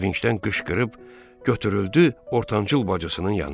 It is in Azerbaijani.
Sevincdən qışqırıb götürüldü ortancıl bacısının yanına.